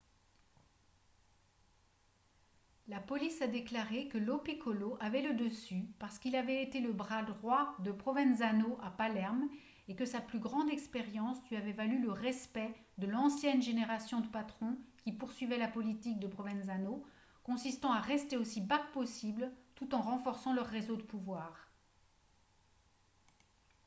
la police a déclaré que lo piccolo avait le dessus parce qu'il avait été le bras droit de provenzano à palerme et que sa plus grande expérience lui avait valu le respect de l'ancienne génération de patrons qui poursuivaient la politique de provenzano consistant à rester aussi bas que possible tout en renforçant leur réseau de pouvoir